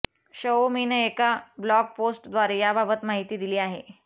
शओमीनं एका blog post द्वारे याबाबत माहिती दिली आहे